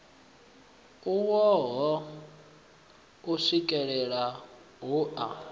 u wohe u swikelele hoea